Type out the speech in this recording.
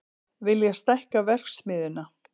Vilja stækka verksmiðjuna